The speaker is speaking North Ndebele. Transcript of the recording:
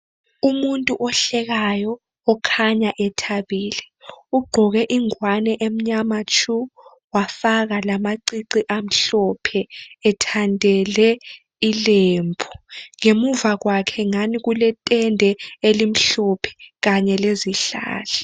Umuntu ohlekayo okhanya ethabile ugqoke ingwane emnyama tshu, wafaka lamacici amhlophe ethandele ilembu. Ngemuva kwakhe ngani kuletende elimhlophe kanye lezihlahla.